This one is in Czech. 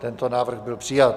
Tento návrh byl přijat.